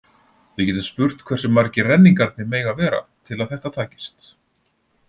Við getum spurt hversu margir renningarnir mega vera til að þetta takist.